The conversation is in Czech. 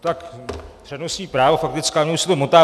Tak, přednostní právo, faktická, mně už se to motá.